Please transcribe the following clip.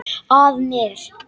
Að mér.